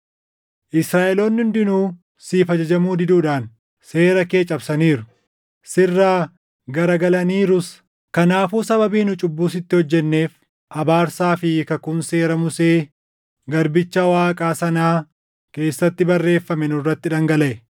Israaʼeloonni hundinuu siif ajajamuu diduudhaan seera kee cabsaniiru; sirraa garagalaniirus. “Kanaafuu sababii nu cubbuu sitti hojjenneef abaarsaa fi kakuun Seera Musee garbicha Waaqaa sanaa keessatti barreeffame nurratti dhangalaʼe.